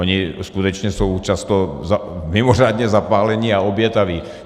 Oni skutečně jsou často mimořádně zapálení a obětaví.